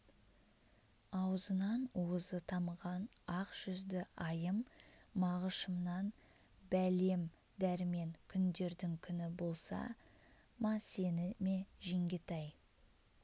аузынан уызы тамған ақ жүзді айым мағышымнан бәлем дәрмен күндердің күні болса ма сені ме жеңгетай